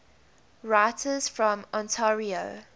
writers from ontario